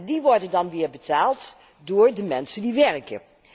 Die worden dan weer betaald door de mensen die werken.